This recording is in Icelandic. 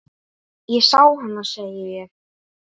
Ég sá hana, segi ég.